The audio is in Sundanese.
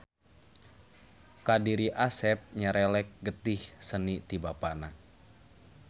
Ka diri Asep nyerelek getih seni ti Bapana.